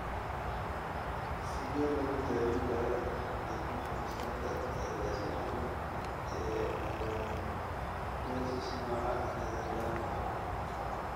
Sidee lagu daweyn karaa dhiig-baxa maskaxda ee la iska dhaxlo ee amyloidosis nooca Nederlandka?